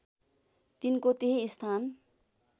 तिनको त्यही स्थान